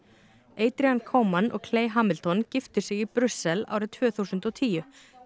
adrian Coman og Hamilton giftu sig í Brussel árið tvö þúsund og tíu